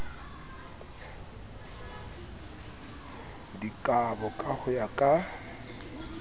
dikabo ka ho ya ka